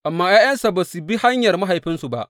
Amma ’ya’yansa ba su bi hanyar mahaifinsu ba.